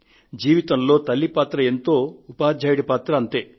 జీవితంలో తల్లి పాత్ర ఎంతో ఉపాధ్యాయుడి పాత్రా అంతే